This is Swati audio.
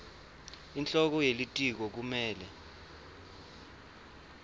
inhloko yelitiko kumele